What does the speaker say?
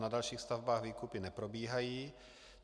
Na dalších stavbách výkupy neprobíhají.